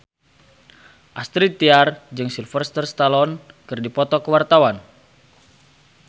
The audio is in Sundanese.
Astrid Tiar jeung Sylvester Stallone keur dipoto ku wartawan